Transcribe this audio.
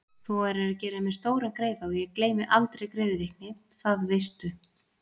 Þú værir að gera mér stóran greiða og ég gleymi aldrei greiðvikni, það veistu.